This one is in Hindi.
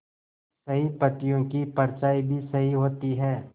सही पत्तियों की परछाईं भी सही होती है